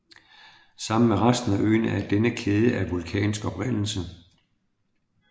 Sammen med resten af øen er denne kæde af vulkansk oprindelse